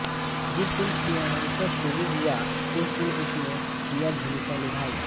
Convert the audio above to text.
जिस दिन फिल्मांकन शुरू हुआ उस दिन उसने यह भूमिका निभाई